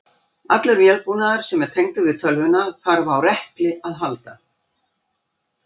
Allur vélbúnaður sem er tengdur við tölvuna þarf á rekli að halda.